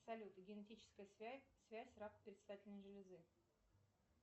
салют генетическая связь рак предстательной железы